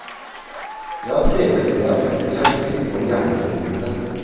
Jeg har skrevet det jeg har funnet i hjertet mitt og i hjernecellene mine.